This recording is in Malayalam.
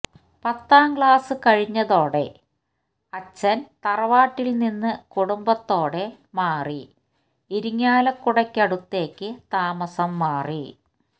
പത്താം ക്ലാസ്സ് കഴിഞ്ഞതോടെ അച്ഛന് തറവാട്ടില് നിന്ന് കുടുംബത്തൊടെ മാറി ഇരിഞ്ഞാലക്കുടക്കടുത്തേക്ക് താമസം മാറി